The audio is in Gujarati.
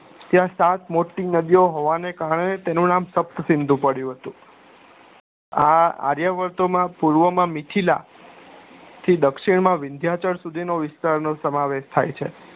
ત્યાં સાત મોટી નદીઓ હોવાના કારણે તેનું નામ સપ્તસિંધુ પડ્યું હતું આ આર્યભટ્ટ માં પર્વ માં મીથીલા થી દર્ક્ષીણ માં વિધ્યાચાર સુધી નો વિસ્તાર નો સમાવેશ થાય છે